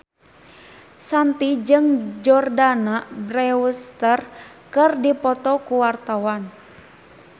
Shanti jeung Jordana Brewster keur dipoto ku wartawan